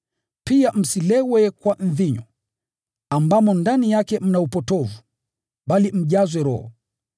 Pia msilewe kwa mvinyo, ambamo ndani yake mna upotovu, bali mjazwe Roho.